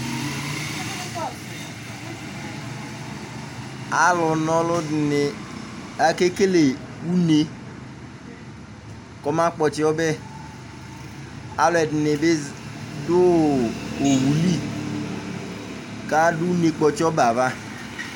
alʊ na ɔlʊdɩnɩ, akekele une kɔmakpɔtsi ɔbɛ, alʊɛdini bɩ dʊ owu li, kʊ adʊ une kpɔtsi ɔbɛ yɛ ava